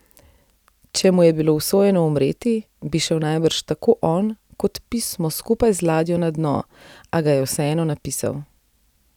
Če mu je bilo usojeno umreti, bi šel najbrž tako on kot pismo skupaj z ladjo na dno, a ga je vseeno napisal.